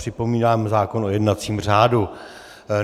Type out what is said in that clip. Připomínám zákon o jednacím řádu.